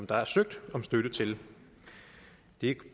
der er søgt om støtte til det